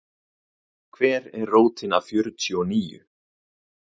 Hver er rótin af fjörtíu og níu?